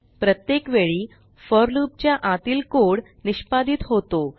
प्रत्येक वेळी फोर loopच्या आतील कोड निष्पादीत होतो